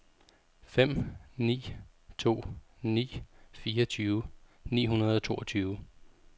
fem ni to ni fireogtyve ni hundrede og toogtyve